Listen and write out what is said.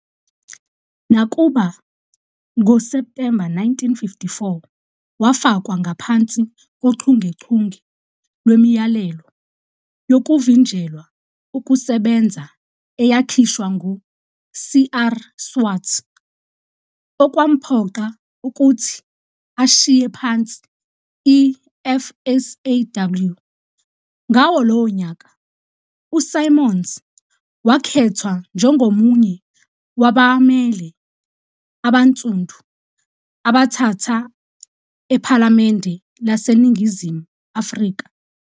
Nakuba, ngoSeptemba 1954, wafakwa ngaphansi kochungechunge lwemiyalelo yokuvinjelwa ukusebenza eyakhishwa ngu-CR Swart okwamphoqa ukuthi ashiye phansi i-, FSAW. Ngawo lowo nyaka, uSimons wakhethwa njengomunye wabamele abaNsundu abathathu ephalamende laseNingizimu Afrika.